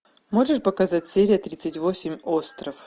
можешь показать серия тридцать восемь остров